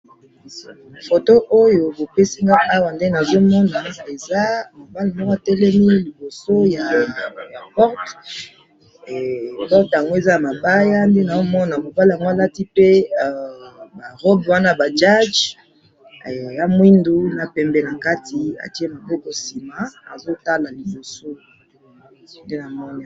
Na moni porte ya mabaya na juge alati elamba ya moindo na pembe.